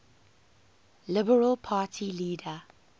liberal party leader